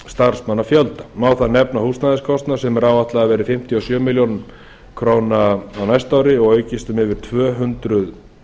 starfsmannafjölda má þar nefna húsnæðiskostnað sem er áætlað að verði fimmtíu og sjö milljónir króna á næsta ári og aukist um yfir tvö hundruð